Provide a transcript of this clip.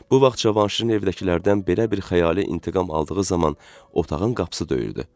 Bu vaxt Cavanşirin evdəkilərdən belə bir xəyali intiqam aldığı zaman otağın qapısı döyürdü.